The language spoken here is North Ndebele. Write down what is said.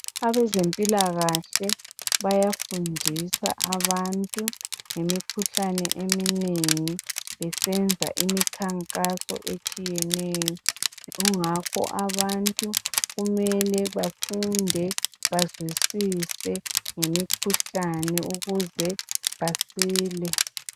Abezempilakahle bayafundisa abantu ngemikhuhlane eminengi besenza imikhankaso etshiyeneyo . Kungakho abantu kumele bafunde bazwisise ngemikhuhlane ukuze basile .